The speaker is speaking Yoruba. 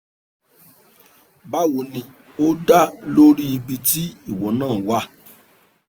bawo ni o da lo ri ibi ti iwo na wa